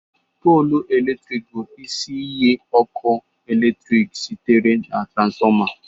Polu eletrik bụ isi iyi ọkụ eletrik sitere na transformer